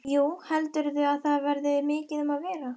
Jú, heldurðu að það verði mikið um að vera?